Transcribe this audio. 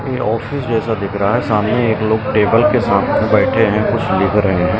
ए office जैसा दिख रहा है सामने एक लोग टेबल के साथ में बैठे हैं कुछ लिख रहे हैं ।